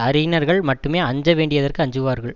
அறிஞர்கள் மட்டுமே அஞ்ச வேண்டியதற்கு அஞ்சுவார்கள்